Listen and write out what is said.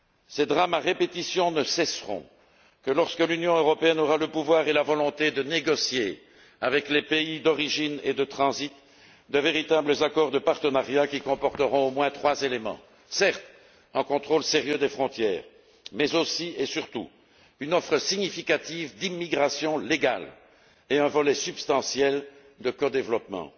Ces drames à répétition ne cesseront que lorsque l'Union européenne aura le pouvoir et la volonté de négocier, avec les pays d'origine et de transit, de véritables accords de partenariat qui comporteront au moins trois éléments certes, un contrôle sérieux des frontières, mais aussi et surtout une offre significative d'immigration légale et un volet substantiel de codéveloppement.